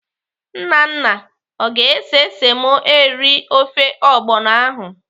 Nnanna ọ ga-ese semo eri ofe ọgbọnọ ahụ?